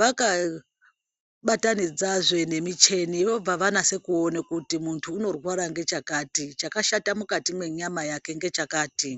vakabatanidzazve nemichini. Vobva vanyatse kuone kuti munthu unorwara ngechakati, chakashata mukati mwenyama yake ngechakati.